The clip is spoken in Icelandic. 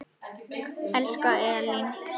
Elsku Elín.